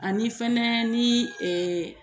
Ani fɛnɛ ni ee